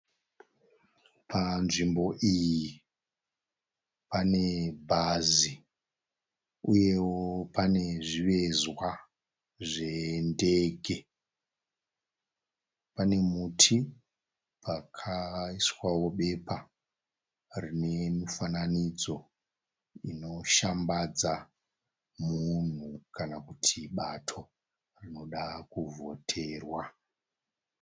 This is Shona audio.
Panzvimbo iyi pane bhazi uyewo pane zvivezwa zvendege. Pane muti pakaiswawo bepa renemufananidzo inoshambadza munhu kanakuti bato rinoda kuvhoterwa.